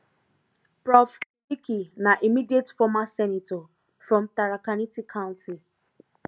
prof kindiki na immediate former senator from tharakanithi county